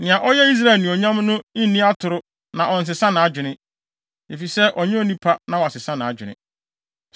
Nea ɔyɛ Israel Anuonyam no nni atoro na ɔnsesa nʼadwene; efisɛ ɔnyɛ onipa na wasesa nʼadwene.”